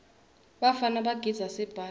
bafana bagidza sibhaca